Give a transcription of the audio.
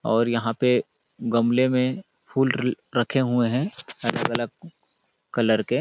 और यहाँ पे गमले में फूल रखे हुए हैं अलग-अलग कलर के --